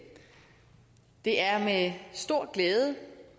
det er med stor glæde